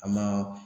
A ma